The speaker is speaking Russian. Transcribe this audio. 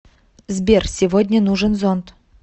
сбер сегодня нужен зонт